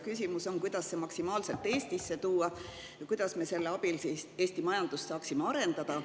Küsimus on, kuidas see maksimaalselt Eestisse tuua ja kuidas me selle abil saaksime Eesti majandust arendada.